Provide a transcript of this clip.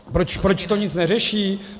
Proč to nic neřeší?